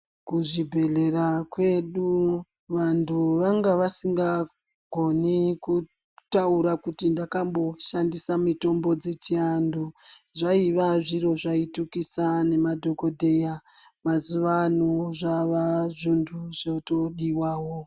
Kuzvibhedhlera kwedu vanhu vanga vasinga goni kutaira kuti ndakamboshandisa mitombo dzechiantu. Zvaiva zviro zvaitukisa nemadhogodheya mazuva ano zvana zvintu zvotodivavo.